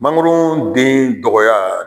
Mangoro den dɔgɔya